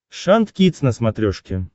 шант кидс на смотрешке